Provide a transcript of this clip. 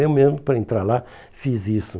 Eu mesmo, para entrar lá, fiz isso.